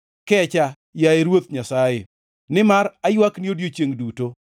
Kecha, yaye Ruoth Nyasaye, nimar aywakni odiechiengʼ duto.